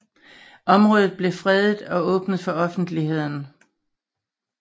Området blev fredet og åbnet for offentligheden